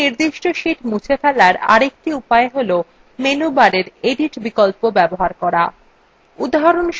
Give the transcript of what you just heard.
একটি নির্দিষ্ট sheet মুছে ফেলার আরেকটি উপায় হল menu bar edit বিকল্প bar করা